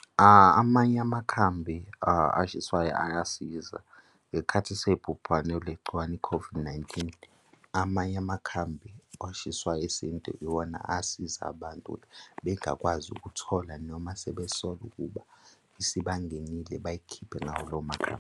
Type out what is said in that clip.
Amanye amakhambi ashiswayo ayasiza ngesikhathi sebhubhane legciwane i-COVID-19. Amanye amakhambi ashiswa isintu iwona asiza abantu ukuthi bengakwazi ukuthola, noma sebesola ukuba isibangenile bayikhiphe ngawo lawo makhambi.